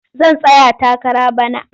Zan tsaya takara bana.